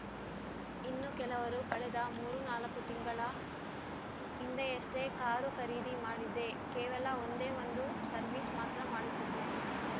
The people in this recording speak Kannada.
ಇನ್ನು ಕೆಲವರು ಕಳೆದ ಮೂರು ನಾಲ್ಕು ತಿಂಗಳ ಹಿಂದೆಯಷ್ಟೇ ಕಾರು ಖರೀದಿ ಮಾಡಿದ್ದೆ ಕೇವಲ ಒಂದೇ ಒಂದು ಸರ್ವಿಸ್ ಮಾತ್ರ ಮಾಡಿಸಿದ್ದೆ